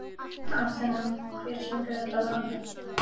Athena, hver syngur þetta lag?